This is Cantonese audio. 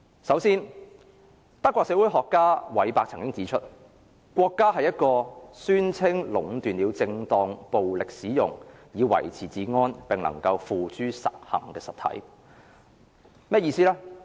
首先，德國社會學家韋伯曾經指出，國家是一個宣稱壟斷了正當使用暴力以維持治安，並能夠付諸實行的實體。